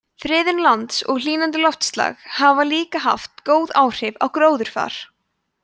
friðun lands og hlýnandi loftslag hafa líka haft góð áhrif á gróðurfar